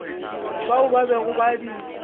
bao ba bego ba di